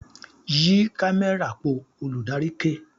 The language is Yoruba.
"Yí kámẹ́rà po "! Olùdarí ké.